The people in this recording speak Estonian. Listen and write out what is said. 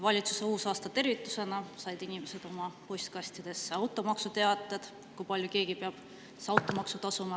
Valitsuse uusaastatervitusena said inimesed oma postkastidesse automaksuteated, kui palju keegi peab automaksu tasuma.